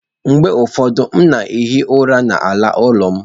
Mgbe ụfọdụ, m na-ehi ụra n'ala ụlọ m.